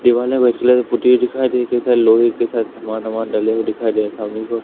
दीवाले white colour की पोती हुई दिखाई दे कई सारे लोहे के सा सामान डाले हुए दिखाई दे सामने की ओर--